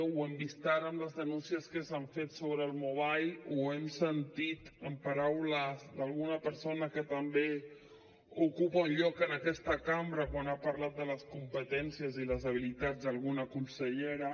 ho hem vist ara amb les denúncies que s’han fet sobre el mobile ho hem sentit en paraules d’alguna persona que també ocupa un lloc en aquesta cambra quan ha parlat de les competències i les habilitats d’alguna consellera